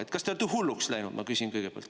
Et kas te olete hulluks läinud, ma küsin kõigepealt.